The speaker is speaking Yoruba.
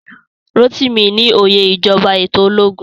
Rotimi ní óyè ìjọba eto ológun